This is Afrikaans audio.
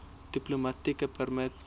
diplomatieke permit